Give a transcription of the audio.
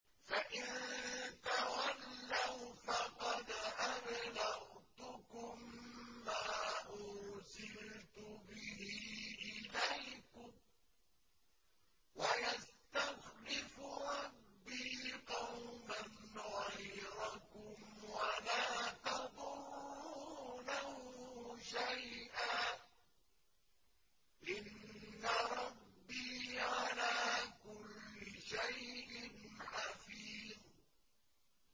فَإِن تَوَلَّوْا فَقَدْ أَبْلَغْتُكُم مَّا أُرْسِلْتُ بِهِ إِلَيْكُمْ ۚ وَيَسْتَخْلِفُ رَبِّي قَوْمًا غَيْرَكُمْ وَلَا تَضُرُّونَهُ شَيْئًا ۚ إِنَّ رَبِّي عَلَىٰ كُلِّ شَيْءٍ حَفِيظٌ